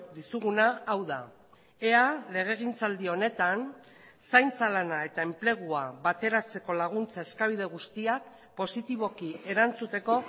dizuguna hau da ea legegintzaldi honetan zaintza lana eta enplegua bateratzeko laguntza eskabide guztiak positiboki erantzuteko